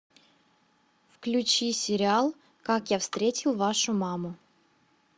включи сериал как я встретил вашу маму